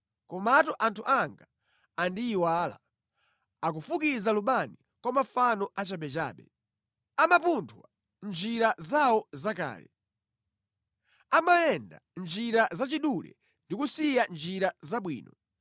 Komatu anthu anga andiyiwala; akufukiza lubani kwa mafano achabechabe. Amapunthwa mʼnjira zawo zakale. Amayenda mʼnjira zachidule ndi kusiya njira zabwino.